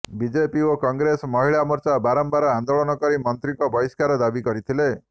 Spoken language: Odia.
ବିଜେପି ଓ କଂଗ୍ରେସ ମହିଳା ମୋର୍ଚ୍ଚା ବାରମ୍ବାର ଆନ୍ଦୋଳନ କରି ମନ୍ତ୍ରୀଙ୍କ ବହିଷ୍କାର ଦାବି କରିଥିଲେ